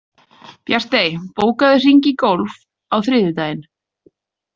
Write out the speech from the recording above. Bjartey, bókaðu hring í golf á þriðjudaginn.